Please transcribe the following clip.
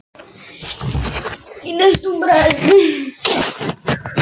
Kennaraskólanum, og fór að hlaða niður börnum.